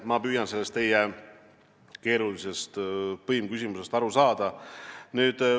Ma püüan teie keerulisest põimküsimusest aru saada.